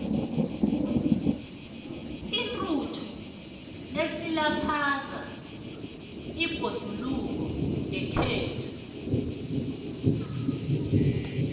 intuthu isilaphaza ibhoduluko yekhethu